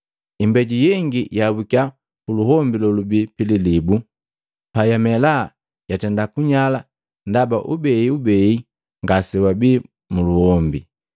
Imbeju yengi yaabukiya puluhombi lolubii pililibu, payamela yatenda kunyala ndaba ubeibei ngasegabii muluombi.